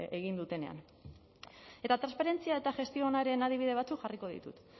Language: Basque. egin dutenean eta transferentzia eta gestio onaren adibide batzuk jarriko ditut